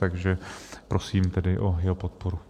Takže prosím tedy o jeho podporu.